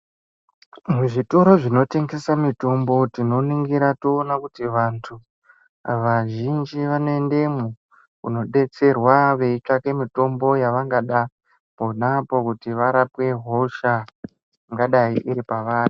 Muzvitoro zvinotengese mitombo tinoningira toone kuti vantu vazhinji vanoendemo kunodetserwa veitsvake mutombo yavangada ponapo kuti varape hosha ingadai iri pavari .